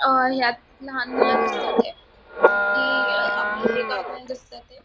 अ ह्यात लहान मूल दिसताएत जे की आपल हे करताना दिसत हेत.